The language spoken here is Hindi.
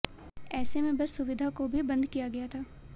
ऐसे में बस सुविधा को भी बंद किया गया था